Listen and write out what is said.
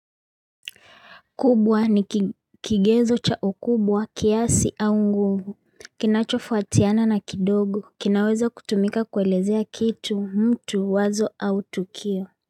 Kubwa ni kigezo cha ukubwa kiasi au nguvu, kinachofu atiana na kidogo, kinawezo kutumika kuelezea kitu mtu wazo au tukio.